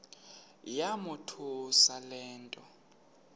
yamothusa le nto